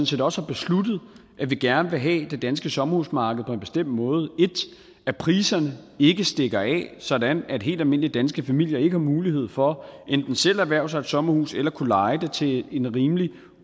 set også har besluttet at vi gerne vil have det danske sommerhusmarked på en bestemt måde 1 at priserne ikke stikker af sådan at helt almindelige danske familier ikke har mulighed for enten selv at erhverve sig et sommerhus eller at kunne leje det til en rimelig